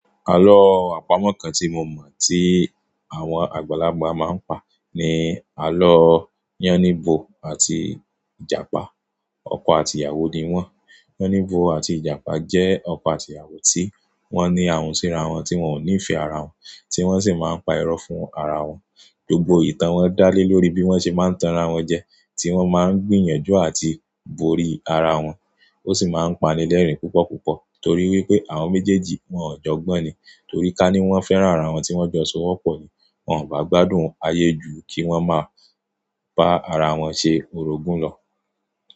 Àlọ́ àpamọ̀ kan tí mo mọ̀ tí àwọn àgbàlagbà máa ń pa ni àlọ́ Yánníbo àti Ìjàpá. Ọkọ àti ìyàwó ni wọ́n. Yánníbo àti Ìjàpá jẹ́ ọkọ àti ìyàwó tí wọ́n ní àhùn síra wọn tí wọ́n ò nífẹ̀ẹ́ ara wọn, tí wọ́n sì máa ń pa irọ́ fún ara wọn. Gbogbo ìtàn wọn dá lé lórí bí wọ́n ṣe máa ń tan ara wọn jẹ, tí wọ́n máa ń gbìyànjú àti borí ara wọn. Ó sì máa ń pani lẹ́rìn púpọ̀púpọ̀ torí wípé àwọn méjèèjì wọn ò jọgbọ́n ni. Torí ká ní wọ́n fẹ́ràn ara wọn tí wọ́n jọ ṣọ wọ́pọ̀ ni. Wọn ò bá gbádùn ayé jù kí wọ́n máa bá ara wọn ṣe orogún lọ.